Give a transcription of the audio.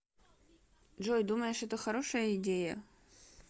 джой думаешь это хорошая идея